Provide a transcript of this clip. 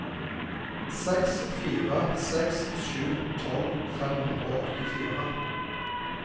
seks fire seks sju tolv fem hundre og åttifire